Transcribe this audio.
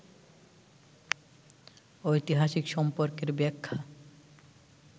ঐতিহাসিক সম্পর্কের ব্যাখ্যা